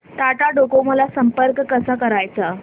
Tata Docomo ला संपर्क कसा करायचा